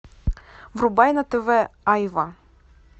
врубай на тв айва